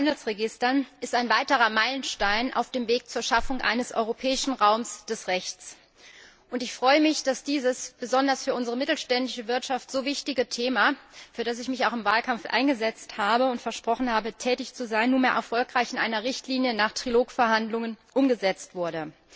Handelsregistern ist ein weiterer Meilenstein auf dem Weg zur Schaffung eines europäischen Raums des Rechts. Ich freue mich, dass dieses besonders für unsere mittelständische Wirtschaft so wichtige Thema, für das ich mich auch im Wahlkampf eingesetzt habe und versprochen habe, tätig zu sein, nach Trilogverhandlungen nunmehr erfolgreich in einer Richtlinie umgesetzt wurde.